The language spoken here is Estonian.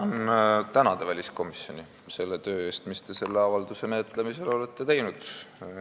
Ma tahan väliskomisjoni tänada selle töö eest, mis te selle avalduse menetlemisel olete teinud.